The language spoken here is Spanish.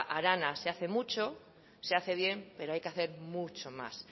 arana se hace mucho se hace bien pero hay que hacer mucho más